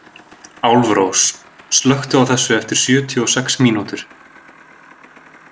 Álfrós, slökktu á þessu eftir sjötíu og sex mínútur.